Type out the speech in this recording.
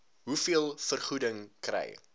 hoeveel vergoeding kry